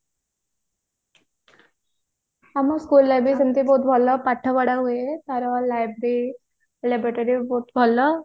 ଆମ school ରେ ବି ସେମିତି ବହୁତ ଭଲ ପାଠ ପଢା ହୁଏ ତାର library laboratory ବି ବହୁତ ଭଲ